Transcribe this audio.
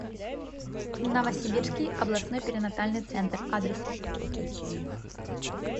новосибирский областной перинатальный центр адрес